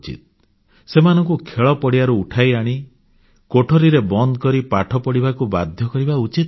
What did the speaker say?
ସେମାନଙ୍କୁ ଖେଳପଡ଼ିଆରୁ ଉଠାଇ ଆଣି କୋଠରୀରେ ବନ୍ଦ କରି ପାଠ ପଢ଼ିବାକୁ ବାଧ୍ୟ କରିବା ଉଚିତ ନୁହେଁ